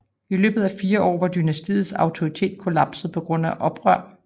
I løbet af fire år var dynastiets autoritet kollapset på grund af oprør